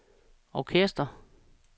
orkester